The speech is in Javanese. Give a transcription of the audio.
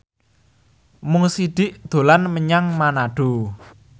Mo Sidik dolan menyang Manado